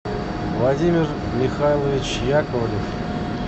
владимир михайлович яковлев